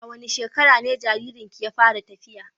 A wane shekara ne jaririnki ya fara tafiya?